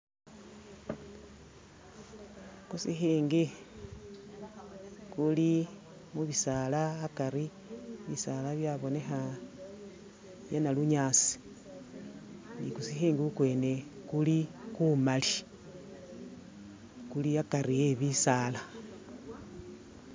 Khusikhikhi kuli mu'bisaala akaari bisaala byabonekha byanalunyasi ni kusikhikhi kukwene kuli kumaali, kuli akari e'bisaala